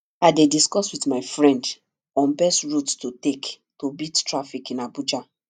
i dey discuss with my friend on best route to take to beat traffic in abuja